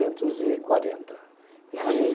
e quarententa, quinze